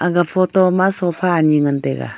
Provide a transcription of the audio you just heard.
aga photo ma sofa ani ngantega.